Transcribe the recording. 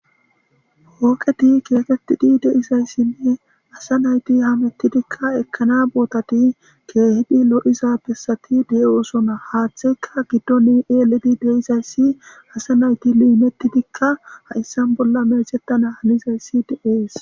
Hooqeti keekettidi deizayssinne asa nayti hamettidikka ekkana bootati keehidi lo,iza pesati de,osona haaththeyka giddoni eeledi deizayssi asa nayti liimettidikka ha,issan bolla meexettana hanizayssi deees.